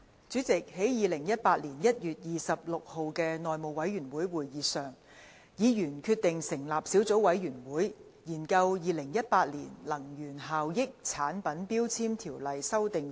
主席，在2018年1月26日的內務委員會會議上，委員決定成立小組委員會，研究《2018年能源效益條例令》。